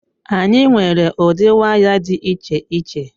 Anyị nwere ụdị waya dị iche iche.